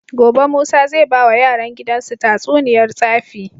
Gobe musa zai bawa yaran gidan su tatsuniyar tsafi